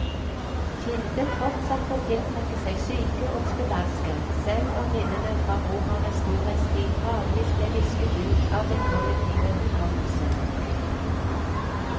Kilden fortsatte å tiltrekke seg syke og spedalske, selv om minnene fra romernes storhetstid gradvis ble visket ut av den kollektive hukommelsen.